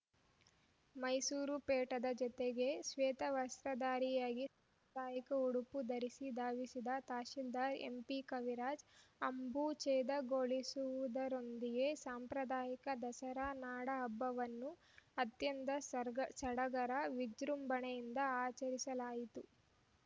ಮೈಸೂರು ಪೇಟದ ಜತೆಗೆ ಶ್ವೇತ ವಸ್ತ್ರದಾರಿಯಾಗಿ ಪಯಿಕ ಉಡುಪು ಧರಿಸಿ ಧಾವಿಸಿದ್ದ ತಹಸೀಲ್ದಾರ್‌ ಎಂಪಿ ಕವಿರಾಜ್‌ ಅಂಬುಛೇದಗೊಳಿಸುವುದರೊಂದಿಗೆ ಸಾಂಪ್ರದಾಯಿಕ ದಸರಾ ನಾಡ ಹಬ್ಬವನ್ನು ಅತ್ಯಂತ ಸಾಡ್ ಸಡಗರ ವಿಜೃಂಭಣೆಯಿಂದ ಆಚರಿಸಲಾಯಿತು